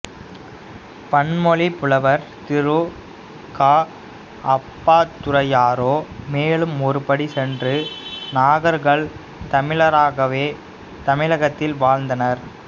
பன்மொழிப் புலவர் திரு கா அப்பாத்துரையாரோ மேலும் ஒருபடி சென்று நாகர்கள் தமிழராகவே தமிழகத்தில் வாழ்ந்தனர்